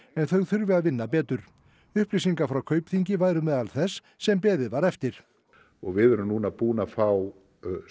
en þau þurfi að vinna betur upplýsingar frá Kaupþingi voru meðal þess sem beðið var eftir við erum núna búin að fá